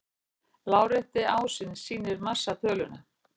Lárétti ásinn sýnir massatöluna.